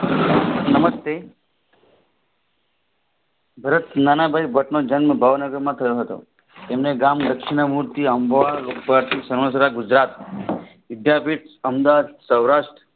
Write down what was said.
નમસ્તે જન્મ ભાવનગર માં થયો હતો તેમને ગામ સમગ્ર ગુજરાત વિદ્યાપીઠ અમદાવાદ સૌરાષ્ટ્ર